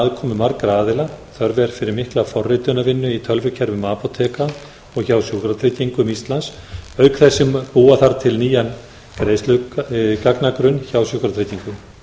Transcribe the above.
aðkomu margra aðila þörf er fyrir mikla forritunarvinnu í tölvukerfum apóteka og hjá sjúkratryggingum íslands auk þess sem búa þarf til nýjan greiðslugagnagrunn hjá sjúkratryggingum